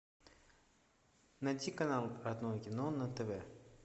найти канал родное кино на тв